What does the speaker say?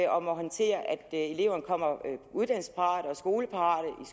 eleven kommer uddannelsesparat og skoleparat